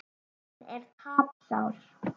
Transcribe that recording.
Hann er tapsár.